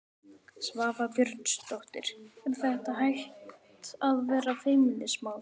Svava Björnsdóttir: Er þetta hætt að vera feimnismál?